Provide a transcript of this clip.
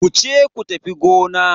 Wuce ku tafi gona.